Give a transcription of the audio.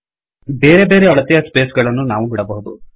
ಬೇರೆ ಬೇರೆ ಅಳತೆಯ ಸ್ಪೇಸ್ ಗಳನ್ನು ನಾವು ಬಿಡಬಹುದು